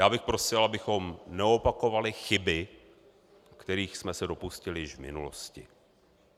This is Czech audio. Já bych prosil, abychom neopakovali chyby, kterých jsme se dopustili již v minulosti.